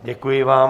Děkuji vám.